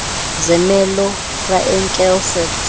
zermelo fraenkel set